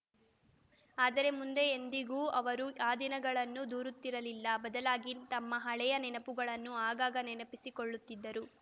ಆದರೆ ಮುಂದೆ ಎಂದಿಗೂ ಅವರು ಆ ದಿನಗಳನ್ನು ದೂರುತ್ತಿರಲಿಲ್ಲ ಬದಲಾಗಿ ತಮ್ಮ ಹಳೆಯ ನೆನಪುಗಳನ್ನು ಆಗಾಗ ನೆನಪಿಸಿಕೊಳ್ಳುತ್ತಿದ್ದರು